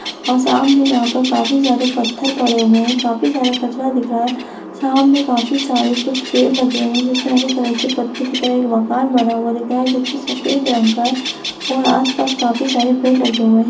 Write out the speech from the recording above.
और सामने यहाँ पर काफी सारे पत्थर पड़े हुए हैं काफी सारा कचरा दिख रहा है सामने काफी सारे कुछ पेड़ लगे हुए हैं जिसमें हरे कलर के पत्ते दिख रहे हैं एक मकान बना हुआ दिख रहा है जो कि सफ़ेद रंग का है और आस-पास काफी सारे पेड़ लगे हुए हैं।